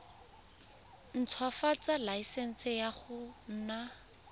ntshwafatsa laesense ya go nna